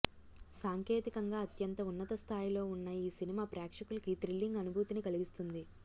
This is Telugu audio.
సాంకేతికంగా అత్యంత ఉన్నత స్థాయిలో ఉన్న ఈ సినిమా ప్రేక్షకులకి థ్రిల్లింగ్ అనుభూతిని కలిగిస్తుంది